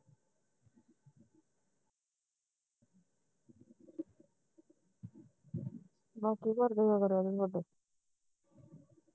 ਬਾਪੂ ਘਰ